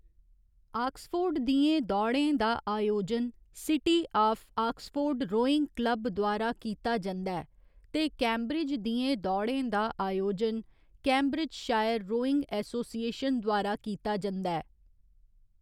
Oxford दियें दौड़ें दा आयोजन city of Oxford rowing club द्वारा कीता जंदा ऐ ते कैम्ब्रिज दियें दौड़ें दा अयोजन कैम्ब्रिजशायर रोइंग एसोसिएशन द्वारा कीता जंदा ऐ।